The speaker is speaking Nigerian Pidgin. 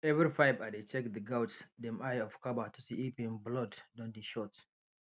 every five i dey check the goats dem eye of cover to see if en blood don dey short